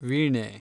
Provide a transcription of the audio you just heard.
ವೀಣೆ